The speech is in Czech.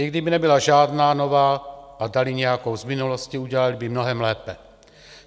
I kdyby nebyla žádná nová a dali nějakou z minulosti, udělali by mnohem lépe.